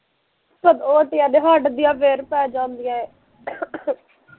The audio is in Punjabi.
ਓਟਿਆ ਤੇ ਹਟਦੀਆਂ ਐ ਫਿਰ ਪੈ ਜਾਂਦੀਆ ਐ